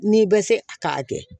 N'i bɛ se a k'a kɛ